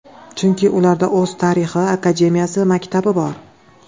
Chunki ularda o‘z tarixi, akademiyasi, maktabi bor.